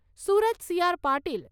Surat C R Patil